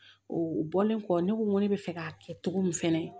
u bɔlen kɔ ne ko n ko ne bɛ fɛ k'a kɛ cogo min fɛnɛ